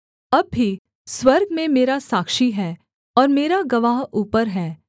अब भी स्वर्ग में मेरा साक्षी है और मेरा गवाह ऊपर है